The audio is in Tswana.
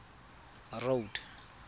road